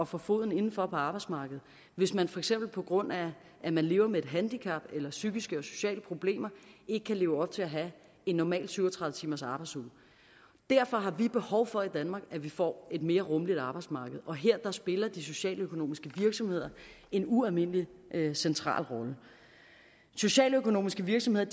få foden indenfor på arbejdsmarkedet hvis man for eksempel på grund af at man lever med et handicap eller psykiske eller sociale problemer ikke kan leve op til at have en normal syv og tredive timersarbejdsuge derfor har vi behov for i danmark at vi får et mere rummeligt arbejdsmarked og her spiller de socialøkonomiske virksomheder en ualmindelig central rolle socialøkonomiske virksomheder